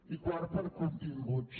i quart per continguts